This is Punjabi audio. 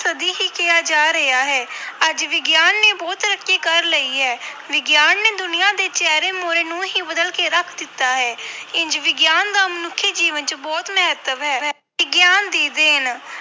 ਸਦੀ ਹੀ ਕਿਹਾ ਜਾ ਰਿਹਾ ਹੈ ਅੱਜ ਵਿਗਿਆਨ ਨੇ ਬਹੁਤ ਤਰੱਕੀ ਕਰ ਲਈ ਹੈ। ਵਿਗਿਆਨ ਨੇ ਦੁਨੀਆ ਦੇ ਚਿਹਰੇ ਮੂਹਰੇ ਨੂੰ ਹੀ ਬਦਲ ਕੇ ਰੱਖ ਦਿੱਤਾ ਹੈ ਇੰਞ ਵਿਗਿਆਨ ਦਾ ਮਨੁੱਖੀ ਜੀਵਨ ਵਿੱਚ ਬਹੁਤ ਮਹੱਤਵ ਹੈ। ਵਿਗਿਆਨ ਦੀ ਦੇਣ